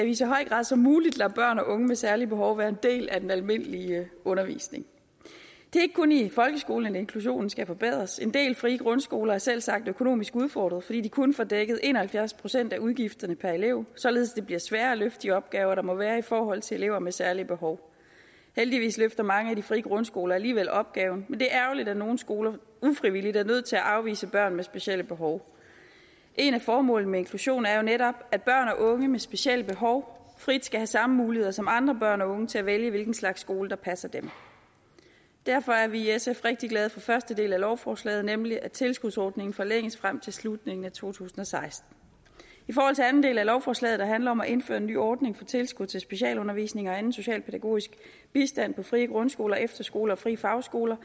i så høj grad som muligt lader børn og unge med særlige behov være en del af den almindelige undervisning det er ikke kun i folkeskolen inklusionen skal forbedres en del frie grundskoler er selvsagt økonomisk udfordret fordi de kun får dækket en og halvfjerds procent af udgifterne per elev således at det bliver sværere at løfte de opgaver der må være i forhold til elever med særlige behov heldigvis løfter mange af de frie grundskoler alligevel opgaven men det er ærgerligt at nogle skoler ufrivilligt er nødt til at afvise børn med specielle behov et af formålene med inklusion er jo netop at børn og unge med specielle behov frit skal have samme muligheder som andre børn og unge til at vælge hvilken slags skole der passer dem derfor er vi i sf rigtig glade for første del af lovforslaget nemlig at tilskudsordningen forlænges frem til slutningen af to tusind og seksten i forhold til anden del af lovforslaget der handler om at indføre en ny ordning for tilskud til specialundervisning og anden socialpædagogisk bistand på frie grundskoler efterskoler og frie fagskoler